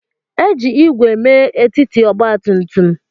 E ji ígwè mee etiti ọgba tum tum.